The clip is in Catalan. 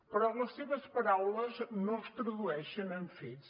però les seves paraules no es tradueixen en fets